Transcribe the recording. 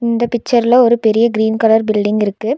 இந்த பிச்சர்ல ஒரு பெரிய கிரீன் கலர் பில்டிங் இருக்கு.